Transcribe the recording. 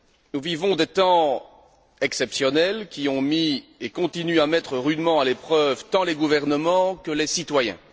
Nous vivons des temps exceptionnels qui ont mis et continuent à mettre rudement à l'épreuve tant les gouvernements que les citoyens.